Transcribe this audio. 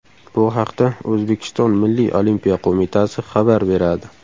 Bu haqda O‘zbekiston Milliy olimpiya qo‘mitasi xabar beradi .